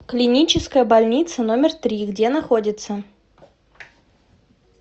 клиническая больница номер три где находится